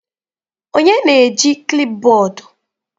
Onye na-eji klipbọọdụ?